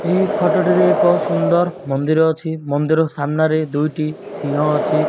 ଏହି ଫଟୋ ଟିରେ ଏକ ସୁନ୍ଦର୍ ମନ୍ଦିର ଅଛି। ମନ୍ଦିର ସାମ୍ନାରେ ଦୁଇଟି ସିଂହ ଅଛି।